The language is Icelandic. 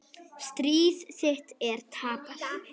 Stríð þitt er tapað.